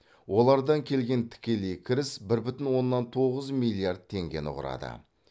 олардан келген тікелей кіріс бір бүтін оннан тоғыз миллиард теңгені құрады